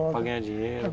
Para ganhar dinheiro.